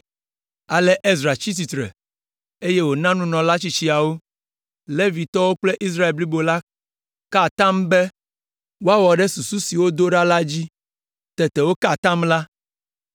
Ale Ezra tsitre eye wòna nunɔla tsitsiawo, Levitɔwo kple Israel blibo la ka atam be woawɔ ɖe susu si wodo ɖa la dzi. Tete woka atam la.